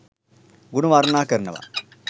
ගුණ වර්ණනා කරනව